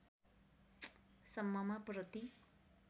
सम्ममा प्रति